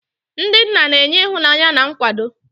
Ndị nna na-enye ịhụnanya na nkwado.